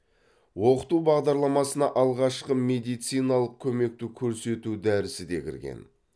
оқыту бағдарламасына алғашқы медициналық көмекті көрсету дәрісі де кірген